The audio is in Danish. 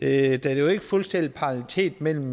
er jo ikke fuldstændig parallelitet mellem